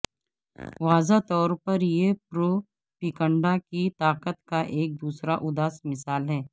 واضح طور پر یہ پروپیگنڈہ کی طاقت کا ایک دوسرا اداس مثال ہے